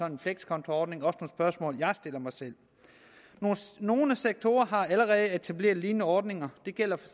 en flekskontoordning og også spørgsmål jeg stiller mig selv nogle sektorer har allerede etableret lignende ordninger det gælder for